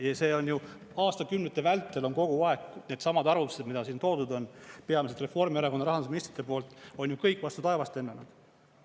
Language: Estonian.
Ja see on, aastakümnete vältel on kogu aeg needsamad arvutused, mida siin toodud on peamiselt Reformierakonna rahandusministrite poolt, on ju kõik vastu taevast lennanud.